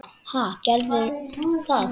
Ha, gerðu það.